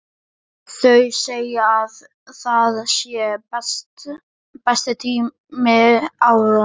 Þau segja að það sé besti tími ársins.